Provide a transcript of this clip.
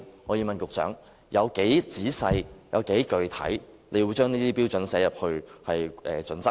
我要問局長，當局會有多仔細、多具體地將這些標準納入《規劃標準》內？